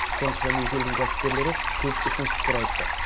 сондықтан екі елдің кәсіпкерлері көп ұсыныс пікір айтты